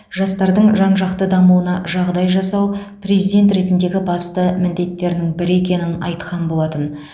жастардың жан жақты дамуына жағдай жасау президент ретіндегі басты міндеттерінің бірі екенін айтқан болатын